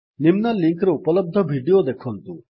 ନିମ୍ନ ଲିଙ୍କ୍ ରେ ଉପଲବ୍ଧ ଭିଡିଓ ଦେଖନ୍ତୁ